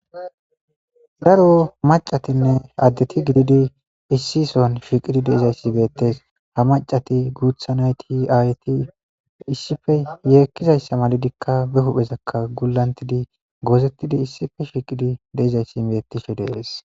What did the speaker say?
Daro addetinne macati issi sohuwan shiiqqidi dizayssi bettes ha macati guuththa naytti ayetti yeekizayssa malidikka be huphphezakka gulantidii goozettidii issippe shiqqidi de'izayssii bettishe de'es.